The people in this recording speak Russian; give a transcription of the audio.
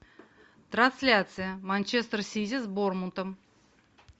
трансляция манчестер сити с борнмутом